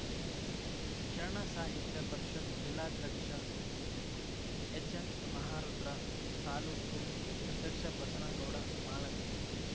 ಶರಣ ಸಾಹಿತ್ಯ ಪರಿಷತ್‌ ಜಿಲ್ಲಾಧ್ಯಕ್ಷ ಎಚ್‌ಎನ್‌ ಮಹಾರುದ್ರ ತಾಲೂಕು ಅಧ್ಯಕ್ಷ ಬಸನಗೌಡ ಮಾಳಗಿ